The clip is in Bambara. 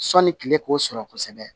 Sɔni kile k'o sɔrɔ kosɛbɛ